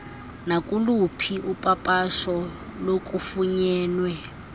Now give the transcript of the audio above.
nakuluphi upapasho lokufunyenwe